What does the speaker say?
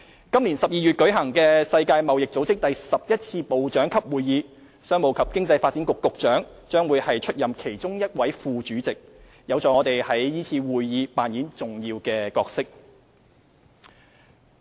今年12月舉行的世界貿易組織第十一次部長級會議，商務及經濟發展局局長會出任其中一位副主席，有助我們在是次會議扮演重要角色。